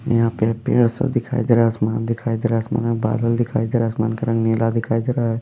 यहाँ पे पेड़ सब दिखाई दे रहा है आसमान दिखाई दे रहा है आसमान में बादल दिखाई दे रहा है आसमान का रंग नीला दिखाई दे रहा है।